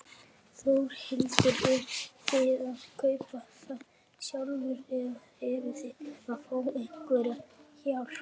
Þórhildur: Eruð þið að kaupa það sjálfur eða eruð þið að fá einhverja hjálp?